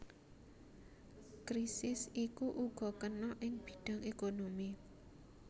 Krisis iku uga kena ing bidhang ékonomi